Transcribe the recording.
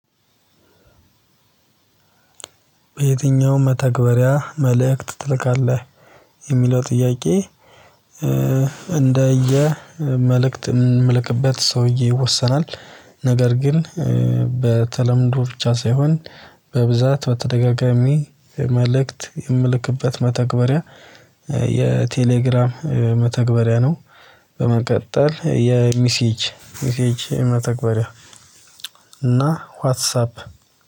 በየትኛውም መተግበሪያ መልእክት ትልካለህ የሚለው ጥያቄ? እንደ የመልእክት የምልክበት ሰውዬ ይወሰናል ነገር ግን በተለምዶ ብቻ ሳይሆን በብዛት በተደጋጋሚ መልእክት የምልክበት መተግበሪያ የቴሌግራም መተግበሪያ ነው። በመቀጠል የሚሲጅ ሚሲጅ መተግበሪያ እና ዋትሳፕ